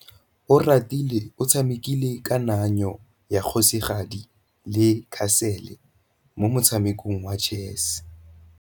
Oratile o tshamekile kananyô ya kgosigadi le khasêlê mo motshamekong wa chess.